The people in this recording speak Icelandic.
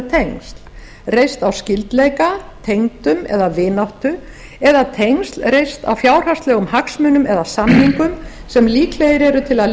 tengsl reist á skyldleika tengdum eða vináttu eða tengsl reist á fjárhagslegum hagsmunum eða samningum sem líkleg eru til að